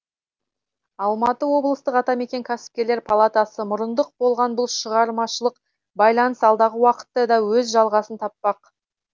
алматы облыстық атамекен кәсіпкерлер палатасы мұрындық болған бұл шығармашылық байланыс алдағы уақытта да өз жалғасын таппақ